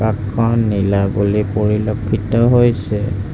আকাশখন নীলা বুলি পৰিলক্ষিত হৈছে।